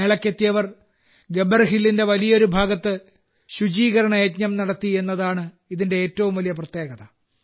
മേളയ്ക്കെത്തിയവർ ഗബ്ബർ ഹില്ലിന്റെ വലിയൊരു ഭാഗത്ത് ശുചീകരണ യജ്ഞം നടത്തി എന്നതാണ് ഇതിന്റെ ഏറ്റവും വലിയ പ്രത്യേകത